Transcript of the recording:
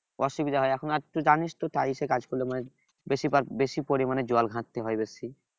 অসুবিধা হয় এখন আর তুই জানিস তো টাইসে কাজ করলে মানে বেশি বার বেশি পরিমাণে জল ঘাটতে হয় বেশি